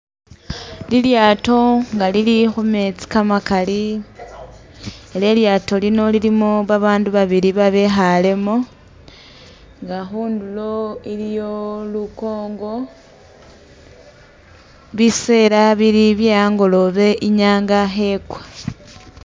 Lilyaato nga lili khumetsi kamakali, ela e'lyaato lino lilimo babandu babili babekhalemo nga khundulo iliyo lukongo, bisela bili bye angolobe inyanga khekwa